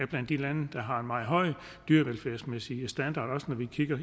blandt de lande der har en meget høj dyrevelfærdsmæssig standard også når vi kigger